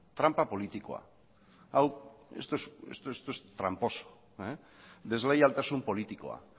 tranpa politikoa esto es tramposo desleialtasun politikoa